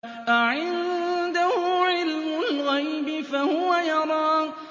أَعِندَهُ عِلْمُ الْغَيْبِ فَهُوَ يَرَىٰ